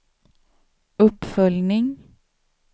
uppföljning